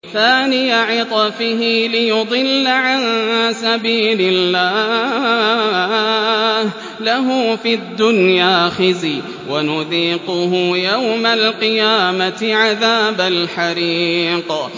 ثَانِيَ عِطْفِهِ لِيُضِلَّ عَن سَبِيلِ اللَّهِ ۖ لَهُ فِي الدُّنْيَا خِزْيٌ ۖ وَنُذِيقُهُ يَوْمَ الْقِيَامَةِ عَذَابَ الْحَرِيقِ